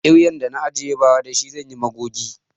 Kiryan da na ajiye ba ra da shi zanyi magogi